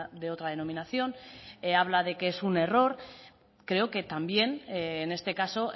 de otra denominación habla de que es un error creo que también en este caso